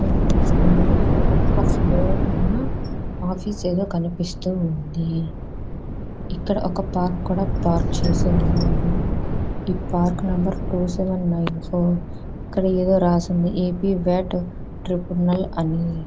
ఈ ఇమేజ్ లో ఒక ఫ్లోర్ ఆఫీస్ ఏదో కనిపిస్తోంది. ఇక్కడ ఒక కారు కూడా పార్క్ చేసి ఉన్నారు. ఈ పార్కు నెంబర్ రెండు ఏడు తొమ్మిది నాలుగు ఇక్కడ ఏదో రాసి ఉంది.